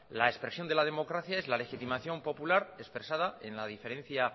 la expresión de la democracia es la legitimación popular expresada en la diferencia